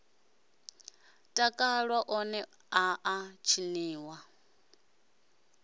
takalwa one a a tshiniwa